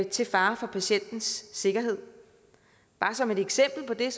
til fare for patientens sikkerhed som et eksempel på det